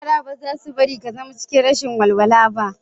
Yara ba zasu bari ka zama cikin rashin walwala ba